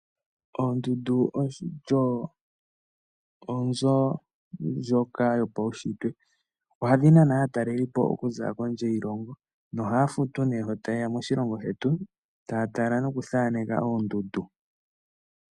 Oondndu odho onzo ndjoka yopaushitwe. Ohadhi nana aatalelipo okuza kondje yiilongo nohaya futu nee shi taye ya moshilongo shetu taya tala nokuthaneka oondundu.